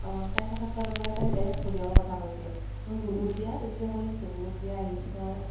অ । আৰু তাইৰ কথা কোৱা ৰ লগে লগে তাই direct কৈ দিয়ে ভণিয়েকৰ কথা কৈ দিয়ে । আমাৰ বুবু ৰ বিয়া ত enjoy কৰিম তো, বুবু ৰ বিয়া আহি আছে নহয় ।